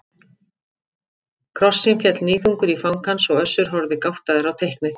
Krossinn féll níðþungur í fang hans og Össur horfði gáttaður á teiknið.